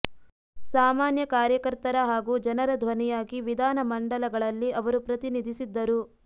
ಸಾಮಾನ್ಯ ಕಾರ್ಯಕರ್ತರ ಹಾಗೂ ಜನರ ಧ್ವನಿಯಾಗಿ ವಿಧಾನ ಮಂಡಲಗಳಲ್ಲಿ ಅವರು ಪ್ರತಿನಿಧಿಸಿದ್ದರು